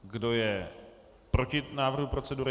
Kdo je proti návrhu procedury?